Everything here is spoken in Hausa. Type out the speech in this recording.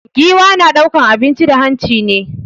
Giwa na ɗaukan abinci da hanci ne